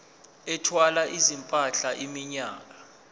ethwala izimpahla iminyaka